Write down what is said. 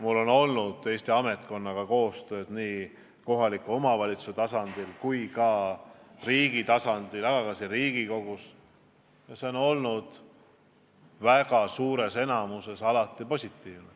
Ma olen Eesti ametkonnaga koostööd teinud nii kohaliku omavalitsuse tasadil kui ka riigi tasandil, samuti siin Riigikogus ja see on olnud väga suures enamuses alati positiivne.